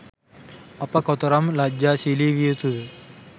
අප කොතරම් ලජ්ජාශීලි විය යුතුද?